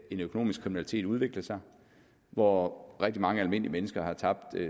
økonomisk kriminalitet udvikle sig og hvor rigtig mange almindelige mennesker har tabt